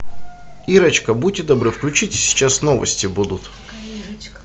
ирочка будьте добры включите сейчас новости будут